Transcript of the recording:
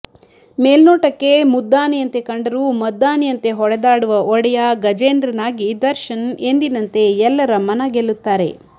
ಮೇಲ್ನೋಟಕ್ಕೆ ಮುದ್ದಾನೆಯಂತೆ ಕಂಡರೂ ಮದ್ದಾನೆಯಂತೆ ಹೊಡೆದಾಡುವ ಒಡೆಯ ಗಜೇಂದ್ರನಾಗಿ ದರ್ಶನ್ ಎಂದಿನಂತೆ ಎಲ್ಲರ ಮನಗೆಲ್ಲುತ್ತಾರೆ